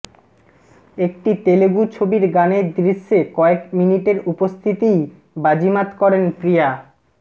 একটি তেলেগু ছবির গানের দৃশ্যে কয়েক মিনিটের উপস্থিতিই বাজিমাত করেন প্রিয়া